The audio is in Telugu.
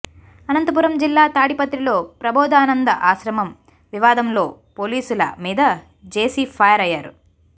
అనంతపురం జిల్లా తాడిపత్రిలో ప్రబోధానంద ఆశ్రమం వివాదంలో పోలీసుల మీద జేసీ ఫైర్ అయ్యారు